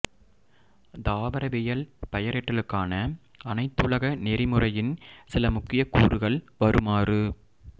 தாவரவியல் பெயரிடலுக்கான அனைத்துலக நெறிமுறையின் சில முக்கிய கூறுகள் வருமாறு